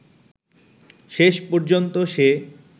শেষ পর্যন্ত সে